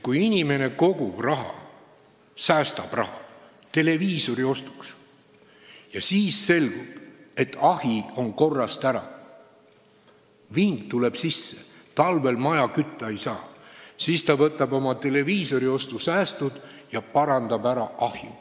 Kui inimene kogub raha, säästab raha televiisori ostuks, aga äkki selgub, et ahi on korrast ära, vingu tuleb sisse ja talvel maja kütta ei saa, siis ta võtab oma televiisoriostusäästud ja parandab ära ahju.